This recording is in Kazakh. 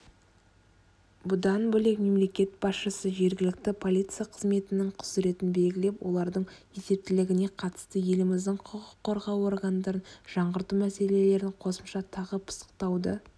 бұдан бөлек мемлекет басшысы жергілікті полиция қызметінің құзыретін белгілеп олардың есептілігіне қатысты еліміздің құқық қорғау органдарын жаңғырту мәселелерін қосымша тағы пысықтауды